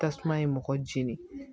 Tasuma ye mɔgɔ jeni